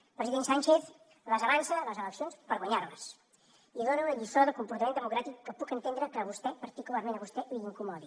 el president sánchez les avança les eleccions per guanyar les i dona una lliçó de comportament democràtic que puc entendre que a vostè particularment a vostè li incomodi